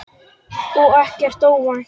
Og ekkert óvænt.